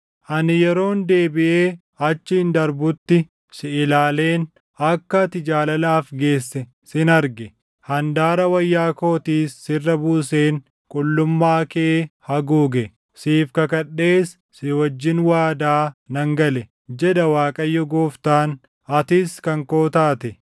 “ ‘Ani yeroon deebiʼee achiin darbutti si ilaaleen akka ati jaalalaaf geesse sin arge; handaara wayyaa kootiis sirra buuseen qullummaa kee haguuge. Siif kakadhees si wajjin waadaa nan gale, jedha Waaqayyo Gooftaan; atis kan koo taate.